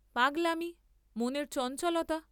পাগলামি, মনের চঞ্চলতা।